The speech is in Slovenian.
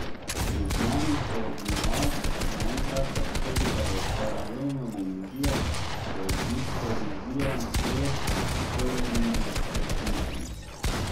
Iz znanih koordinat naenkrat prestopite v paralelno dimenzijo, v distorziran svet, vzporedno resničnost.